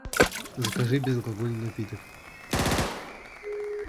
закажи безалкогольный напиток